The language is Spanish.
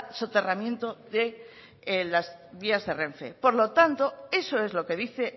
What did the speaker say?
soterramiento de las vías de renfe por lo tanto eso es lo que dice